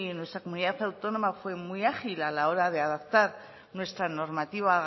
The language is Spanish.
nuestra comunidad autónoma fue muy ágil a la hora de adaptar nuestra normativa